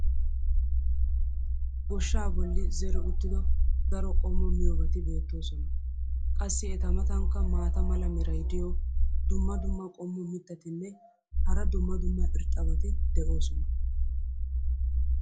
goshshaa boli zeri uttido daro qommo miyoobati beetoosona. qassi eta matankka maata mala meray diyo dumma dumma qommo mitattinne hara dumma dumma irxxabati de'oosona.